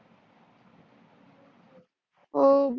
हु